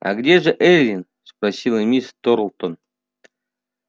а где же эллин спросила миссис тарлтон